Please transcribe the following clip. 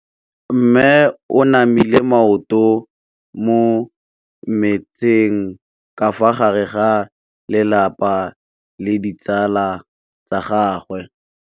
Mme o namile maoto mo mmetseng ka fa gare ga lelapa le ditsala tsa gagwe.